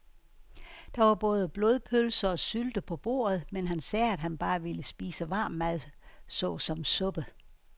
Der var både blodpølse og sylte på bordet, men han sagde, at han bare ville spise varm mad såsom suppe.